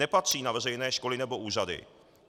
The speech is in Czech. Nepatří na veřejné školy nebo úřady.